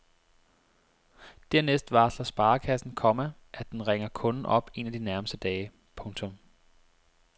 Dernæst varsler sparekassen, komma at den ringer kunden op en af de nærmeste dage. punktum